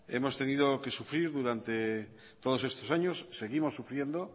hemos tenido que sufrir durante todos estos años seguimos sufriendo